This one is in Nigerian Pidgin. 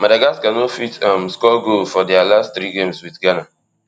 madagascar no fit um score goal for dia last three games wit ghana